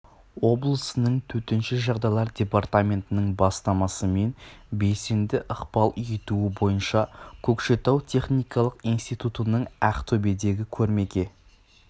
облысының төтенше жағдайлар департаментінің бастамасы мен белсенді ықпал етуі бойынша көкшетау техникалық институтының ақтөбедегі көрмеге